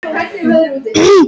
Dóróthea, hvað er klukkan?